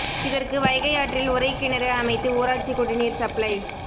இதற்கு வைகை ஆற்றில் உறை கிணறு அமைத்து ஊராட்சி குடிநீர் சப்ளை